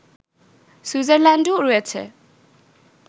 সুইজারল্যান্ডও রয়েছে